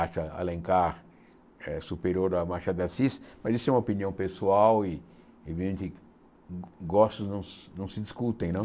acha Alencar eh superior a Machado de Assis, mas isso é uma opinião pessoal e, evidente, gostos não não se discutem, não?